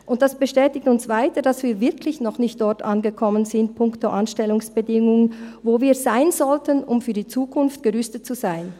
Dies bestätigt uns weiter, dass wir punkto Anstellungsbedingungen wirklich noch nicht dort angekommen sind, wo wir sein sollten, um für die Zukunft gerüstet zu sein.